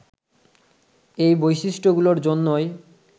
এই বৈশিষ্ট্যগুলোর জন্যই